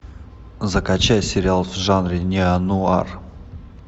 закачай сериал в жанре неонуар